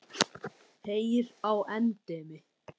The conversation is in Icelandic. Heyr á endemi!